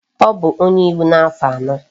O bu onye iwu na afo ano